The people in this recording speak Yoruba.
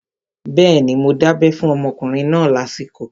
Bẹ́ẹ̀ni, mo dábẹ́ fún ọmọkùnrin náà lásìkò